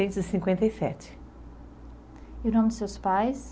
cinquenta e sete. E o nome dos seus pais?